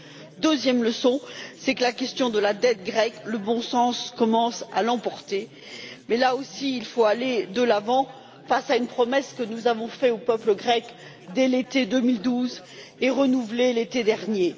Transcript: La deuxième leçon, c'est que sur la question de la dette grecque, le bon sens commence à l'emporter mais, là aussi, il faut aller de l'avant face à une promesse que nous avons faite au peuple grec dès l'été 2012 et que nous avons renouvelée l'été dernier.